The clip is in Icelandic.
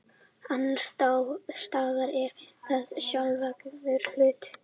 annars staðar er það sjálfsagður hlutur